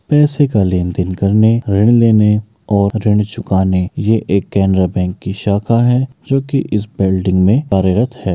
पैसे का लेनदेन करने ऋण लेने और ऋण चुकाने ये एक केनरा बैंक की शाखा है जोकि इस बिल्डिंग में कार्यरत है।